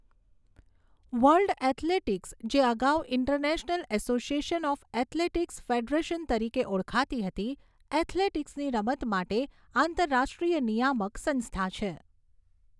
World Athletics, જે અગાઉ International Association of Athletics Federation તરીકે ઓળખાતી હતી, એથ્લેટિક્સની રમત માટે આંતરરાષ્ટ્રીય નિયામક સંસ્થા છે.